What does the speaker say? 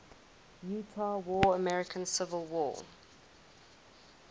utah war american civil war